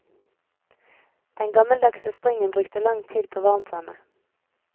Den gammeldagse springen brukte lang tid på varmtvannet.